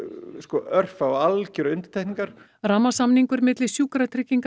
örfá algerar undantekningar rammasamningur milli Sjúkratrygginga